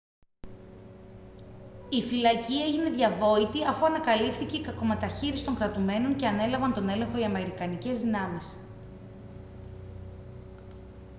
η φυλακή έγινε διαβόητη αφού ανακαλύφθηκε η κακομεταχείριση των κρατουμένων και ανέλαβαν τον έλεγχο οι αμερικανικές δυνάμεις